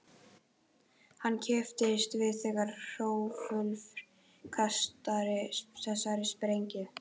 Hann kippist við þegar Hrólfur kastar þessari sprengju.